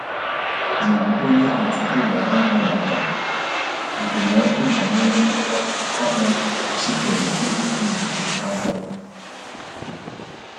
Ọ jụrụ ónyé otu ụlọ ahịa maka ndụmọdụ banyere ngwa ahịa chi kèrè eji egbochi ahụhụ